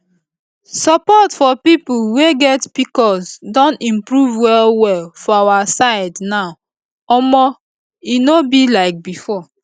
support for people wey get pcos don improve well well for our side now omo e no be like before